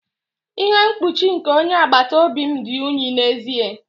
Ihe mkpuchi nke onye agbata obi m dị unyi n'ezie.